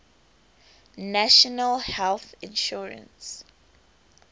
national health insurance